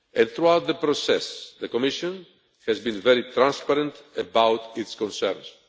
Throughout the process, the Commission has been very transparent about its concerns.